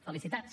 felicitats